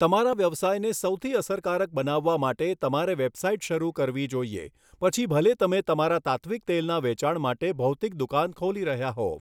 તમારા વ્યવસાયને સૌથી અસરકારક બનાવવા માટે, તમારે વેબસાઇટ શરૂ કરવી જોઈએ, પછી ભલે તમે તમારા તાત્ત્વિક તેલના વેચાણ માટે ભૌતિક દુકાન ખોલી રહ્યા હોવ.